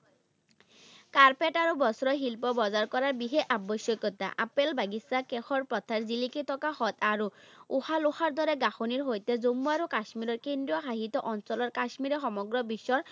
carpet আৰু বস্ত্ৰ শিল্প বজাৰ কৰা বিশেষ আৱশ্যকতা, আপেল বাগিচা কাষৰ পথাৰ জিলিকি থকা হ্ৰদ আৰু দৰে গাঠনিৰ সৈতে জন্মু আৰু কাশ্মীৰৰ কেন্দ্ৰীয় শাসিত অঞ্চলৰ কাশ্মীৰে সমগ্ৰ বিশ্বৰ